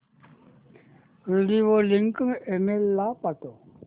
video link email ला पाठव